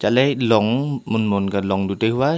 let long mon mon ka long du tai hua.